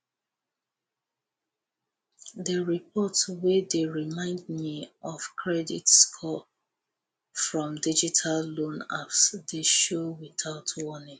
the report wey dey remind me of credit score from digital loan apps dey show without warning